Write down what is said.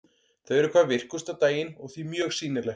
Þau eru hvað virkust á daginn og því mjög sýnileg.